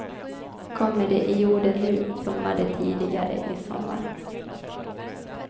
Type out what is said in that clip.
Kommer de i jorden nu, blommar de tidigare i sommar.